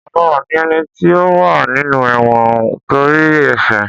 Ọ̀daràn ní éní tí ó wá nínú èwõn ntórí ésè